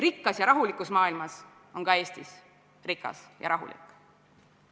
Rikkas ja rahulikus maailmas on ka Eesti rikas ja rahulik.